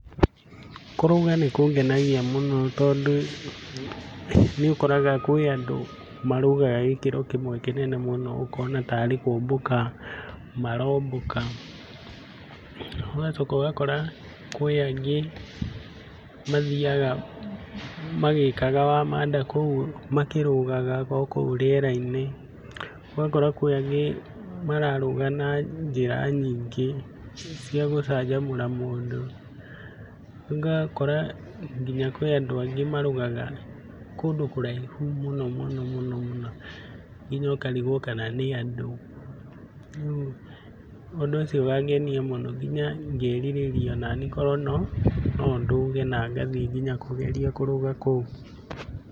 Kũrũga nĩkũngenagia mũno tondũ nĩũkoraga kwĩ andũ marũgaga gĩkĩro kĩmwe kĩnene mũno ũkona tarĩ kũmbũka marombũka. ũgacoka ũgakora kwĩ angĩ mathiaga magĩkaga wamanda, kũu makĩrũgaga okũu rĩera-inĩ. ũgakora kwĩ angĩ mararũga na njĩra nyingĩ cia gũcanjamũra mũndũ. ũgakora nginya kwĩ andũ angĩ marũgaga kũndũ kũraihu mũnomũnomũno nginya ũkarigwo kana nĩ andũ. Rĩu ũndũ ũcio ũkangenia mũno onaniĩ ngerirĩria kana onani nondũge na ngathiĩ nginya kũgeria kũrũga kũu.